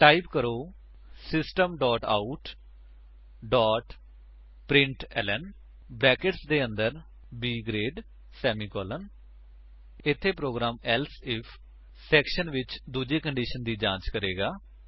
type ਕਰੋ system dot out dot println brackets ਦੇ ਅੰਦਰ B ਗਰੇਡ ਸੇਮੀਕੋਲਨ ਇੱਥੇ ਪ੍ਰੋਗਰਾਮ ਏਲਸੇ ਇਫ ਸੇਕਸ਼ਨ ਵਿੱਚ ਦੂਜੀ ਕੰਡੀਸ਼ਨ ਦੀ ਜਾਂਚ ਕਰੇਗਾ